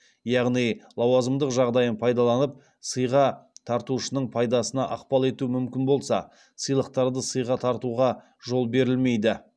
яғни лауазымдық жағдайын пайдаланып сыйға тартушының пайдасына ықпал етуі мүмкін болса сыйлықтарды сыйға тартуға жол берілмейді